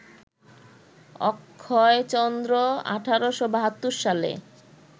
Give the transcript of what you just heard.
অক্ষয়চন্দ্র ১৮৭২ সালে